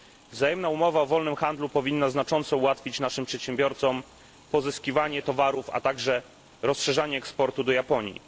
Wzajemna umowa o wolnym handlu powinna znacząco ułatwić naszym przedsiębiorcom pozyskiwanie towarów, a także rozszerzenie eksportu do Japonii.